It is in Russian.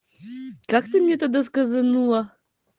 как ты мне тогда сказанула